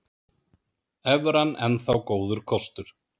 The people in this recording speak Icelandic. Evran enn þá góður kostur